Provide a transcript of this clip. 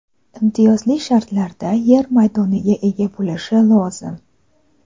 Imtiyozli shartlarda yer maydoniga ega bo‘lishi lozim.